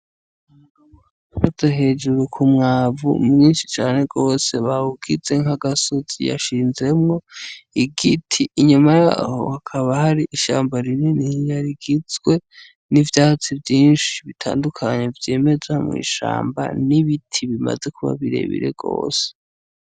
Umugabo ahagaze ku mwavu mwinshi cane gose, bawugize nkagasozi, yashinzemwo igiti inyuma yaho hakaba ari ishamba rinini rigizwe n'ivyatsi vyinshi bitandukanye vyimeza mw'ishamba, n'ibiti bimaze kuba birebire gose.